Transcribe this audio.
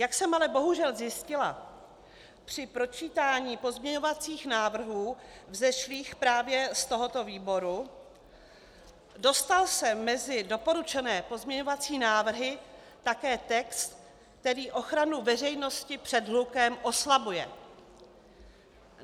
Jak jsem ale bohužel zjistila při pročítání pozměňovacích návrhů vzešlých právě z tohoto výboru, dostal se mezi doporučené pozměňovací návrhy také text, který ochranu veřejnosti před hlukem oslabuje.